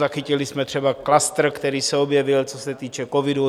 Zachytili jsme třeba klastr, který se objevil, co se týče covidu.